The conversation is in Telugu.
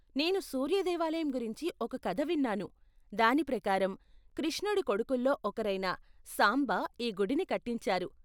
నేను సూర్య దేవాలయం గురించి ఒక కథ విన్నాను, దాని ప్రకారం, కృష్ణుడి కొడుకుల్లో ఒకరైన సాంబ ఈ గుడిని కట్టించారు.